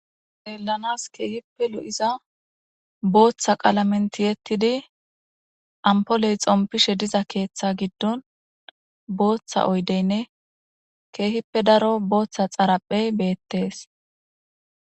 Xeellanas keehippe lo'iza booththa qalamen tiyettidi ampoley xompishe diza keeththa giddon booththa oyddeynne keehippe daro booththa xaraphey beettes